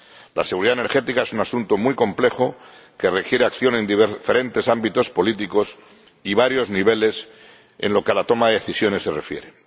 La seguridad energética es un asunto muy complejo que requiere acción en diferentes ámbitos políticos y varios niveles en lo que a la toma de decisiones se refiere.